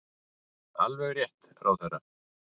Alveg rétt, ráðherra!